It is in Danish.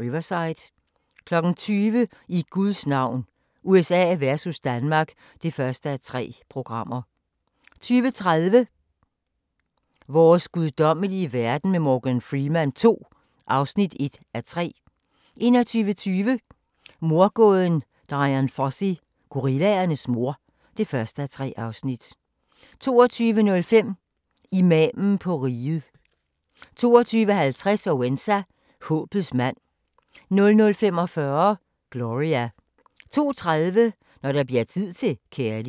Riverside * 20:00: I Guds navn – USA versus Danmark (1:3) 20:30: Vores guddommelige verden med Morgan Freeman II (1:3) 21:20: Mordgåden Dian Fossey - gorillaernes mor (1:3) 22:05: Imamen på riget 22:50: Walesa - håbets mand 00:45: Gloria 02:30: Når der bliver tid til kærlighed